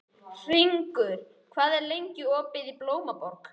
Hringur, hvað er lengi opið í Blómaborg?